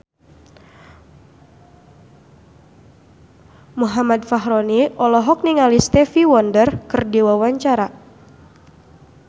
Muhammad Fachroni olohok ningali Stevie Wonder keur diwawancara